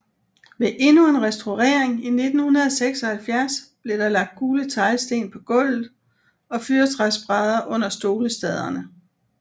Ved endnu en restaurering i 1976 blev der lagt gule teglsten på gulvet og fyrretræsbrædder under stolestaderne